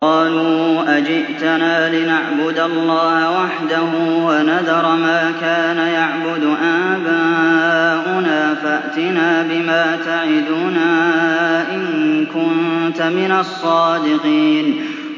قَالُوا أَجِئْتَنَا لِنَعْبُدَ اللَّهَ وَحْدَهُ وَنَذَرَ مَا كَانَ يَعْبُدُ آبَاؤُنَا ۖ فَأْتِنَا بِمَا تَعِدُنَا إِن كُنتَ مِنَ الصَّادِقِينَ